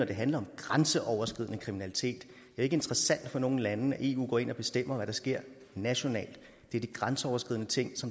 det handler om grænseoverskridende kriminalitet ikke interessant for nogen lande at eu går ind og bestemmer hvad der sker nationalt det er de grænseoverskridende ting